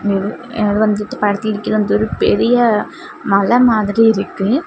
இது வந்துட்டு படத்திலிருக்கிறதொரு பெரிய மலை மாதிரி இருக்கு.